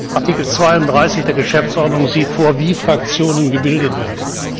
Artikel 32 der Geschäftsordnung sieht vor, wie Fraktionen gebildet werden.